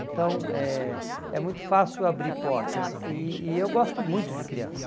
Então, é é muito fácil abrir portas e e eu gosto muito de criança.